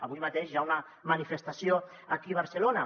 avui mateix hi ha una manifestació aquí a barcelona